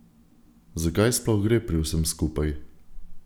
Zakaj sploh gre pri vsem skupaj?